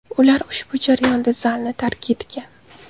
Ular ushbu jarayonda zalni tark etgan.